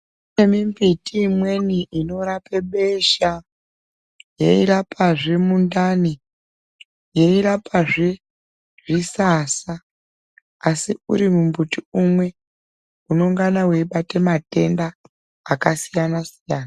Kunemimbiti imweni inorape besha yeirapazve mundani yeirapazve zvisasa asi urimbuti umwe unonga weibata matenda akasiyana siyana.